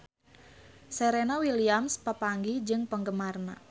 Serena Williams papanggih jeung penggemarna